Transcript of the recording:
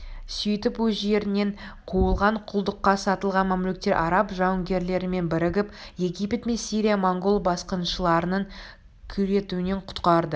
сөйтіп өз жерінен қуылған құлдыққа сатылған мамлюктер араб жауынгерлерімен бірігіп египет пен сирияны монғол басқыншыларының күйретуінен құтқарды